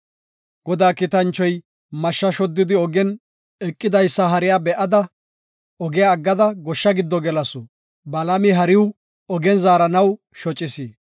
Godaa kiitanchoy mashsha shoddidi ogen eqidaysa hariya be7ada, ogiya aggada goshsha giddo gelasu. Balaami hariw ogen zaaranaw shocis.